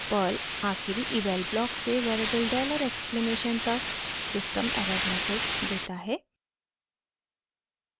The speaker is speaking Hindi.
पर्ल आखिरी eval ब्लॉक से वेरिएबल डॉलर एक्सक्लेमेशन $! तक सिस्टम एरर मैसेज देता है